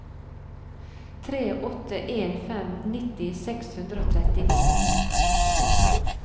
tre åtte en fem nitti seks hundre og trettini